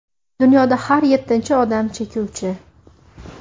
Dunyoda har yettinchi odam chekuvchi .